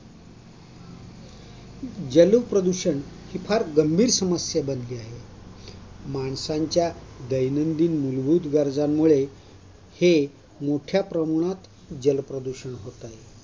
जलप्रदूषण ही फार गंभीर समस्या बनली आहे. दैनंदिन मूलभूत गरजांमुळे हे मोठ्या प्रमाणात जलप्रदूषण होतात.